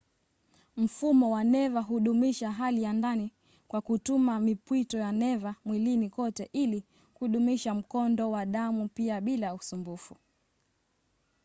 mfumo wa neva hudumisha hali ya ndani kwa kutuma mipwito ya neva mwilini kote ili kudumisha mkondo wa damu pia bila usumbufu